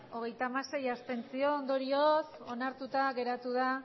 hogeita hamasei abstentzio ondorioz onartuta geratu da